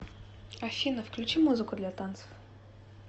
афина включи музыку для танцев